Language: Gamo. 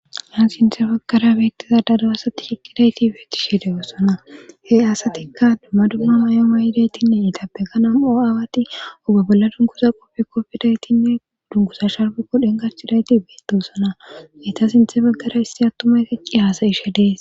haan sinthe baggara beettiza dadawasati shiqqidayti beetti shiede wossona he asatikka dumma dumma mayoma yidaytinne itabeganan o7aawati oge bolla dunkuza qopfikkopfidaytinne dungusa sharbukko dhenkachchidayti beettoosona meta sinthe baggara isti attumay keqqi haasayishe dees